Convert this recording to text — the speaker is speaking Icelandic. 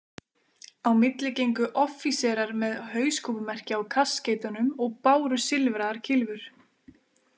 Á milli gengu offíserar með hauskúpumerki á kaskeitunum og báru silfraðar kylfur.